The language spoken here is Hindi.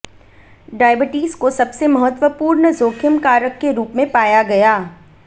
डायबिटीज को सबसे महत्वपूर्ण जोखिम कारक के रूप में पाया गया